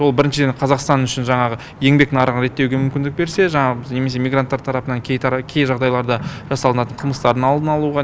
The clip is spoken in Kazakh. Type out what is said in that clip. ол біріншіден қазақстан үшін жаңағы еңбек нарығын реттеуге мүмкіндік берсе жаңағы немесе мигранттар тарапынан кей жағдайларда жасалатын қылмыстардың алдын алуға